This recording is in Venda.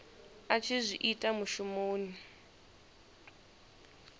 a tshi zwi ita mushumoni